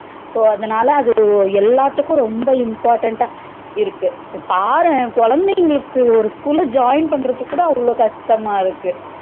So அதனால எல்லாத்துக்கும் ரொம்ப important டா இருக்கு பாரே குழந்தைங்களுக்கு ஒரு school லா join பண்றதுக்கு அவ்ளோ கஷ்டமா இருக்கு